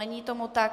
Není tomu tak.